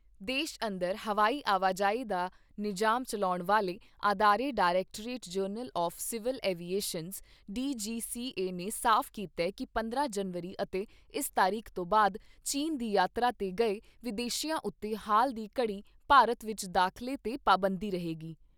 ਦੇਸ਼ ਅੰਦਰ ਹਵਾਈ ਆਵਾਜਾਈ ਦਾ ਨਿਜਾਮ ਚੱਲਾਉਣ ਵਾਲੇ ਅਦਾਰੇ directorate general of civil aviations DGCA ਨੇ ਸਾਫ ਕੀਤਾ ਕਿ ਪੰਦਰਾਂ ਜਨਵਰੀ ਅਤੇ ਇਸ ਤਾਰੀਖ ਤੋਂ ਬਾਦ ਚੀਨ ਦੀ ਯਾਤਰਾ ਤੇ ਗਏ ਵਿਦੇਸ਼ੀਆਂ ਉੱਤੇ ਹਾਲ ਦੀ ਘੜੀ ਭਾਰਤ ਵਿਚ ਦਾਖਲੇ ਤੇ ਪਾਬੰਦੀ ਰਹੇਗੀ।